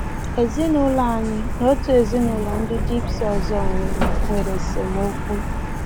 Ezinụụlọ anyị na otu ezinụụlọ ndị Gypsy ọzọ nwere nwere esemokwu.